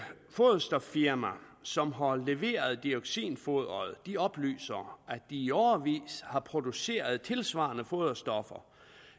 foderstoffirma som har leveret dioxinfoderet oplyser at de i årevis har produceret tilsvarende foderstoffer